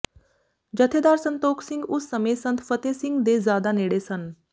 ਜਥੇਦਾਰ ਸੰਤੋਖ ਸਿੰਘ ਉਸ ਸਮੇਂ ਸੰਤ ਫਤਹਿ ਸਿੰਘ ਦੇ ਜ਼ਿਆਦਾ ਨੇੜੇ ਸਨ